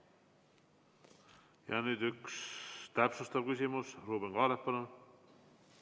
Ja nüüd üks täpsustav küsimus, Ruuben Kaalep, palun!